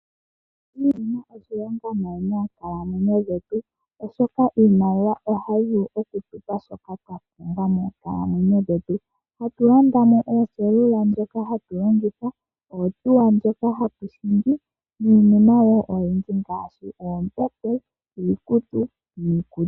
Iimaliwa oyi na oshilonga nayi moonkalamwenyo dhetu, oshoka iimaliwa ohayi vulu okutupa shoka twa pumbwa moonkalamwenyo dhetu. Hatu landa o mo oselula ndjoka hatu longitha, ohauto ndjoka hatu hingi niinima wo oyindji ngaashi oombete, iikutu niikulya.